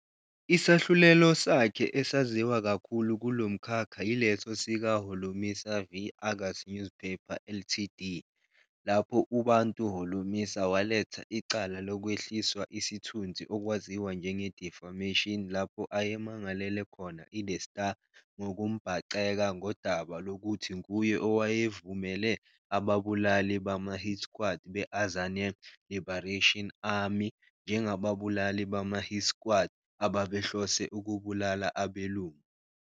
Isahlulelo sakhe esaziwa kakhulu kulomkhakha yileso sika-"Holomisa v Argus Newspaper Ltd," lapho uBantu Holomisa waletha icala lokwehliswa isithundzi okwaziwa njenge-defamation lapho ayemangelele khona i-The Star ngokumbhaceka ngodaba lokuthi nguye owayevumele ababulali bama-hit squad be- Azanian Liberation Army njengababulali bama-"hit squad" ababehlose "ukubulala abelungu".